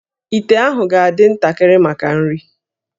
íté ahụ ga-adị ntakịrị maka nri